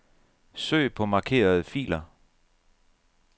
Søg på markerede filer.